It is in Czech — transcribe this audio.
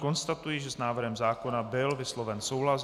Konstatuji, že s návrhem zákona byl vysloven souhlas.